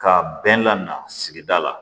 K'a bɛɛ lamaga sigida la